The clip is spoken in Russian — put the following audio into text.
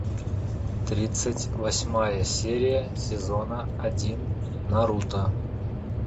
тридцать восьмая серия сезона один наруто